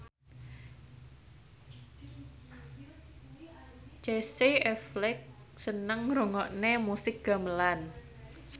Casey Affleck seneng ngrungokne musik gamelan